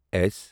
S